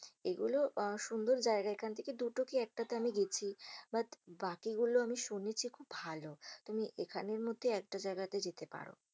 এগুলো আহ সুন্দর জায়গা। এখান থেকে দুটো কি একটাতে আমি গেছি । But বাকিগুলো আমি শুনেছি খুব ভালো। তুমি এখানের মধ্যে একটা জায়গাতে যেতে পারো।